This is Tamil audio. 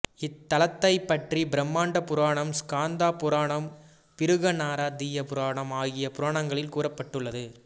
இத்தலத்தைப் பற்றி பிரம்மாண்ட புராணம் ஸ்காந்த புராணம் பிருகன் நாரதீய புராணம் ஆகிய புராணங்களில் கூறப்பட்டுள்ளது